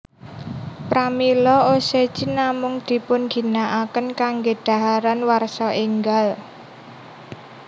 Pramila osechi namung dipunginakaken kangge dhaharan warsa enggal